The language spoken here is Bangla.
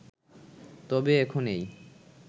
তবে এখন এই